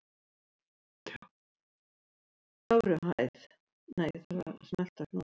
Fögruhæð